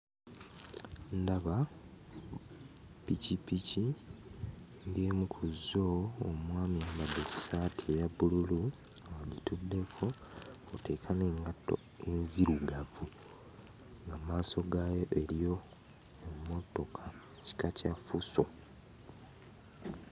Ndaba ppikippiki ng'emu ku zzo omwami ayambadde essaati eya bbululu agituddeko kw'oteeka n'engatto enzirugavu nga mmaaso gaayo eriyo emmotoka kika kya fuso.